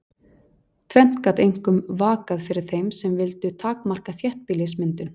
Tvennt gat einkum vakað fyrir þeim sem vildu takmarka þéttbýlismyndun.